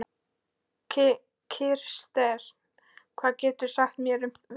Kirsten, hvað geturðu sagt mér um veðrið?